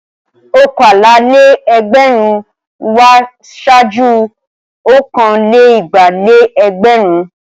Ọ̀kàlá-lé-ẹgbẹrún wá ṣáájú ọ̀kan-lé-igba-lé-ẹgbẹ̀rún.